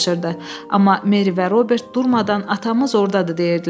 Amma Meri və Robert durmadan "Atamız ordadır" deyirdilər.